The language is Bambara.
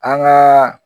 An gaa